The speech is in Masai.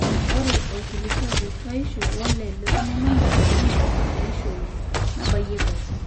ore orkilikuai letuaishu wole tomononishu neing'ori teishoi nabayieki ake